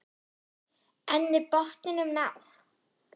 En er botninum náð?